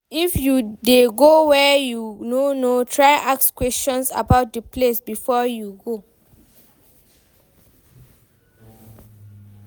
If you de go where you no know try ask questions about di place before you go